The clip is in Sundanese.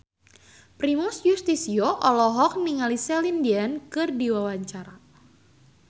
Primus Yustisio olohok ningali Celine Dion keur diwawancara